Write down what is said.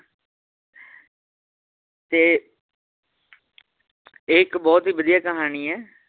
ਤੇ ਇਹ ਇੱਕ ਬਹੁਤ ਹੀ ਵਧੀਆ ਕਹਾਣੀ ਏ